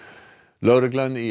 lögreglan í